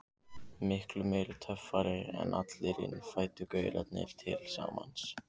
Miklu meiri töffari en allir innfæddu gaurarnir til samans.